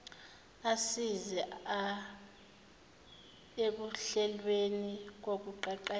assize ekuhlelweni kokuqeqesha